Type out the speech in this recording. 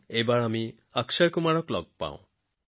এতিয়া অক্ষয় কুমাৰ জীৰ কথা শুনো আহক